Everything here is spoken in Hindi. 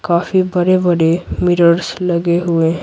काफी बड़े-बड़े मिरर्स लगे हुए हैं।